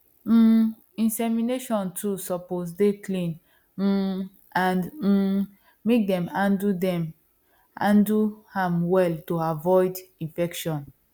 um insemination tools suppose dey clean um and um make dem handle dem handle am well to avoid infection